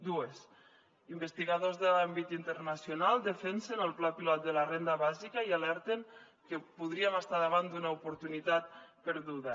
dues investigadors de l’àmbit internacional defensen el pla pilot de la renda bàsica i alerten que podríem estar davant d’una oportunitat perduda